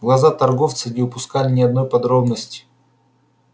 глаза торговца не упускали ни одной подробности